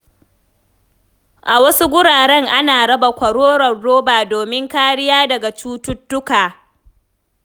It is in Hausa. A wasu guraren ana raba kwaroron roba domin kariya daga cututtuka.